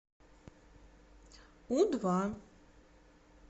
у два